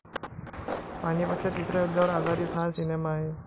पानिपतच्या तिसऱ्या युद्धावर आधारित हा सिनेमा आहे.